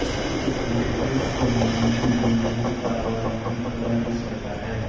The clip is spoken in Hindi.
इस दृष्टि से हिन्दी व्यंजनों का वर्गीकरण इस प्रकार है